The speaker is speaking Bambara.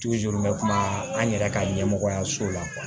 n bɛ kuma an yɛrɛ ka ɲɛmɔgɔyaso la